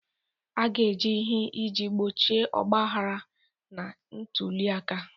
A ga-eme ihe iji gbochie ogbahara na ntuli aka.